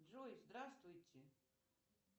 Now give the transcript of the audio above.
джой здравствуйте